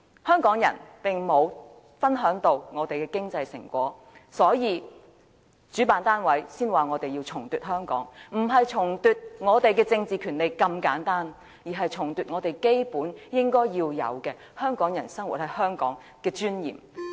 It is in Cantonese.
香港人並沒有分享到香港的經濟成果，所以主辦單位才說要重奪香港，不是重奪我們的政治權利這麼簡單，而是重奪香港人在香港生活應有的尊嚴。